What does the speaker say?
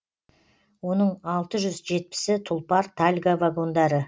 оның алты жүз жетпісі тұлпар тальго вагондары